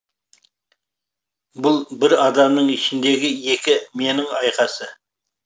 бұл бір адамның ішіндегі екі менің айқасы